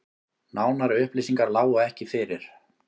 Nánari upplýsingar lágu ekki fyrir